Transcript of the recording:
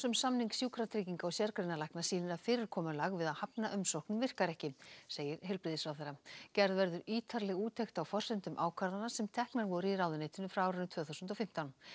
um samning Sjúkratrygginga og sérgreinalækna sýnir að fyrirkomulag við að hafna umsóknum læknanna virkar ekki segir heilbrigðisráðherra gerð verður ítarleg úttekt á forsendum ákvarðana sem teknar voru í ráðuneytinu frá árinu tvö þúsund og fimmtán